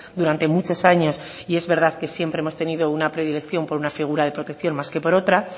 durante muchos años y es verdad que siempre hemos tenido una predilección por una figura de protección más que por otra